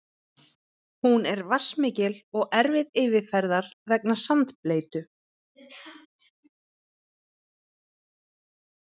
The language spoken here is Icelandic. Hún er vatnsmikil og erfið yfirferðar vegna sandbleytu.